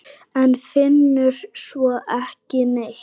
En finnur svo ekki neitt.